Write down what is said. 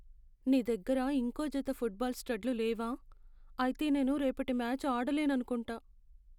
నీ దగ్గర ఇంకో జత ఫుట్బాల్ స్టడ్లు లేవా? అయితే నేను రేపటి మ్యాచ్ ఆడలేననుకుంటా.